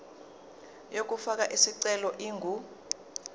yokufaka isicelo ingu